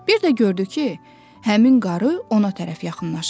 Bir də gördü ki, həmin qarı ona tərəf yaxınlaşır.